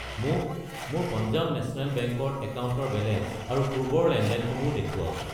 মোক মোৰ Punjab national bank ৰ একাউণ্টৰ বেলেঞ্চ আৰু পূৰ্বৰ লেনদেনসমূহ দেখুৱাওক।